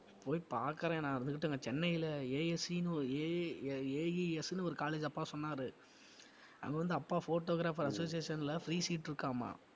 போய் பாக்கறேன் நான் இருந்துகிட்டு அங்க சென்னையில ASE ன்னு ஒரு AAAES னு ஒரு college அப்பா சொன்னாரு அங்க வந்து அப்பா photographer association ல free seat இருக்காம்மா